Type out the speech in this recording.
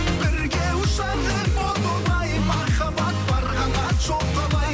бірге ұшар ем о тоба ай махаббат бар қанат жоқ қалай